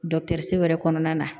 wɛrɛ kɔnɔna na